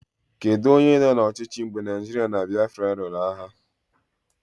Kedụ onye nọ n'ọchịchị mgbe Naijiria na Biafra lụrụ agha?